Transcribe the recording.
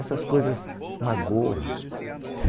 Essas coisas magoam.